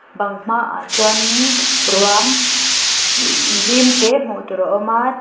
bang hma ah chuan in ruam zim te hmuh tur a awm a.